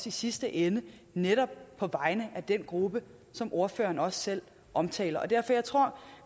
i sidste ende netop på vegne af den gruppe som ordføreren også selv omtaler jeg tror